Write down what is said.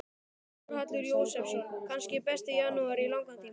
Þórhallur Jósefsson: Kannski besti janúar í langan tíma?